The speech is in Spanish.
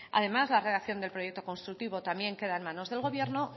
además la redacción del proyecto constructivo también queda en manos del gobierno